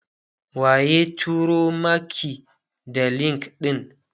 waye turo Maki da link ɗin?